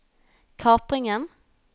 kapringen